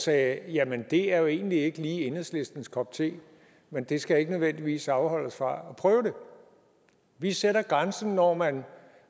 sagde jamen det er jo egentlig ikke lige enhedslistens kop te men det skal ikke nødvendigvis afholde os fra at prøve det vi sætter grænsen når man